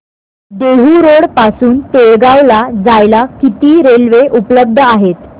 Dehu road पासून तळेगाव ला जायला किती रेल्वे उपलब्ध आहेत